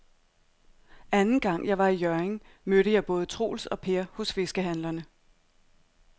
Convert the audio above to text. Anden gang jeg var i Hjørring, mødte jeg både Troels og Per hos fiskehandlerne.